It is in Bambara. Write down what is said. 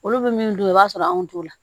Olu bɛ min dun i b'a sɔrɔ anw t'o la